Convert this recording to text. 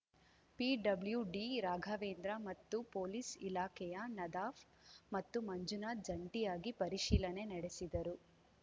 PWD Raghavendra ಮತ್ತು police ಇಲಾಖೆಯ ನದಾಫ್ ಮತ್ತು ಮಂಜುನಾಥ್ ಜಂಟಿಯಾಗಿ ಪರಿಶೀಲನೆ ನಡೆಸಿದರು